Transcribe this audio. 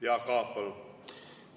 Jaak Aab, palun!